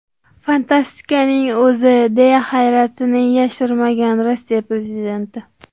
Fantastikaning o‘zi!” deya hayratini yashirmagan Rossiya prezidenti.